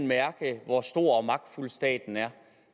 mærke hvor stor og magtfuld staten er